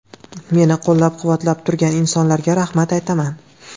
Meni qo‘llab-quvvatlab turgan insonlarga rahmat aytaman.